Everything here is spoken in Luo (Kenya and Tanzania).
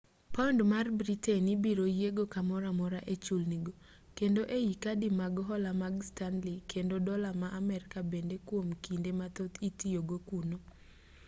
paund mar britain ibiro yiego kamoro amora e chulni go kendo ei kadi mag hola mag stanley kendo dola ma amerka bende kuom kinde mathoth itoyogo kuno